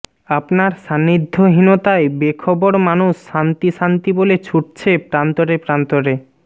আপনার সান্নিধ্যহীনতায় বেখবর মানুষ শান্তি শান্তি বলে ছুটছে প্রান্তরে প্রান্তরে